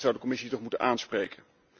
Dat zou de Commissie toch moeten aanspreken.